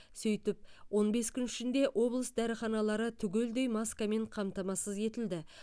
сөйтіп он бес күн ішінде облыс дәріханалары түгелдей маскамен қамтамасыз етілді